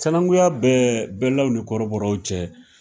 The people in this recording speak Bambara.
Sinanguya bɛ bɛlaw ni kɔrɔbɔrɔw cɛ